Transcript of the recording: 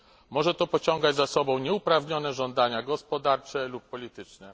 Może to pociągać za sobą nieuprawnione żądania gospodarcze lub polityczne.